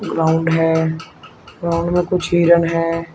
Ground है ground में कुछ हिरण है।